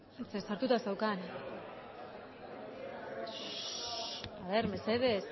sartuta zeukan mesedez